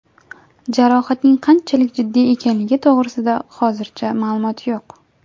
Jarohatning qanchalik jiddiy ekanligi to‘g‘risida hozircha ma’lumot yo‘q.